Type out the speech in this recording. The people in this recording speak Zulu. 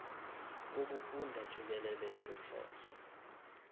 wokufunda jikelele sihlose